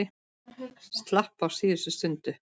Ég slapp á síðustu stundu.